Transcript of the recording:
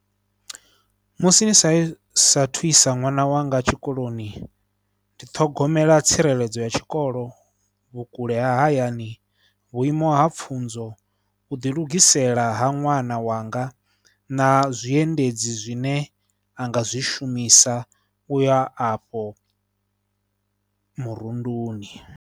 Musi ni sa saathu isa ṅwana wanga tshikoloni, ndi ṱhogomela tsireledzo ya tshikolo, vhukule ha hayani, vhuimo ha pfhunzo, u ḓilugisela ha ṅwana wanga na zwiendedzi zwine a nga zwi shumisa u ya afho murunduni.